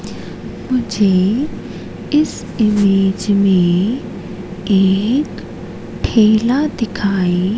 मुझे इस इमेज में एक ठेला दिखाई--